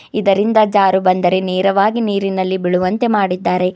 ಇದರಿಂದ ಜಾರು ಬಂದರೆ ನೇರವಾಗಿ ನೀರಿನಲ್ಲಿ ಬಿಳುವಂತೆ ಮಾಡಿದ್ದಾರೆ.